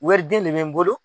Wari den de bɛ n bolo